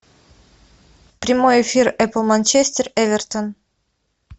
прямой эфир апл манчестер эвертон